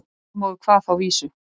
Þormóður kvað þá vísu